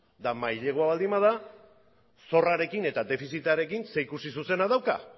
eta mailegua baldin bada zorrarekin eta defizitarekin zerikusi zuzena dauka